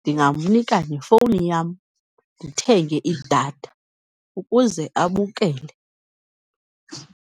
Ndingamnika nefowuni yam, ndithenge idatha ukuze abukele.